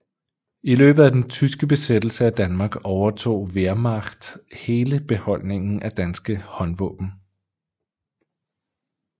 I løbet af den tyske besættelse af Danmark overtog Wehrmacht hele beholdningen af danske håndvåben